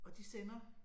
Og de sender